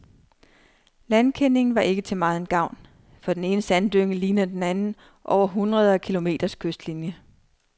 Landkendingen var ikke til megen gavn, for den ene sanddynge ligner den anden over hundrede af kilometers kystlinie.